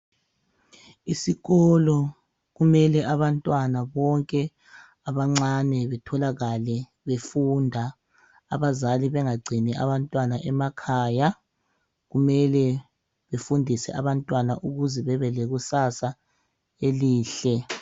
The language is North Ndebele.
Isikolo kumele abantwana bonke abancane betholakale befunda abazali bengagcini abantwana emakhaya. Kumele befundise abantwana ukuze bebelekusasa elihle .